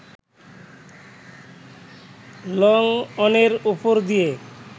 লংঅনের ওপর দিয়ে